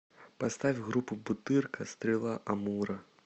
поставь группу бутырка стрела амура